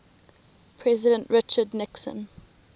president richard nixon